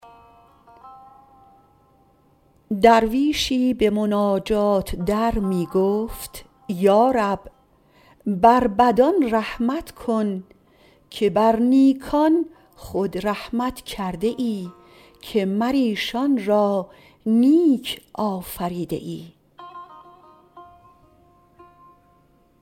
درویشی به مناجات در می گفت یا رب بر بدان رحمت کن که بر نیکان خود رحمت کرده ای که مر ایشان را نیک آفریده ای